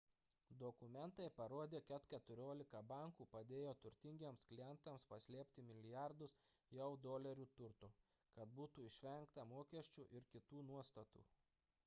dokumentai parodė kad keturiolika bankų padėjo turtingiems klientams paslėpti milijardus jav dolerių turto kad būtų išvengta mokesčių ir kitų nuostatų